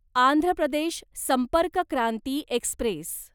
Andhra Pradesh Sampark Kranti Express